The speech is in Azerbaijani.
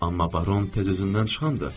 Amma baron tez özündən çıxandır.